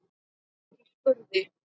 Ekki úti í skurði.